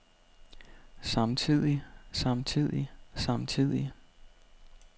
samtidig samtidig samtidig